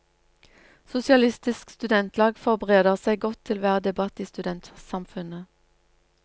Sosialistisk studentlag forbereder seg godt til hver debatt i studentsamfunnet.